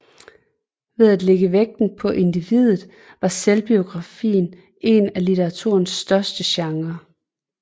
Ved at lægge vægten på individet var selvbiografien en af litteraturens største genrer